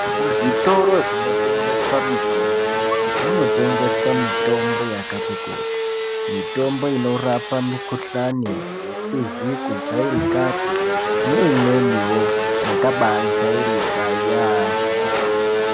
Muzvitoro zvotengeswa mutombo munotengeswa mutombo yakati kuti. Mutombo inorape mikhuhlane isizi kujairikapi neimweniwo yakabajairika yaamho.